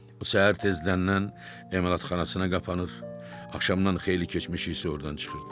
Bu səhər tezdən emalatxanasına qapanır, axşamdan xeyli keçmiş isə ordan çıxırdı.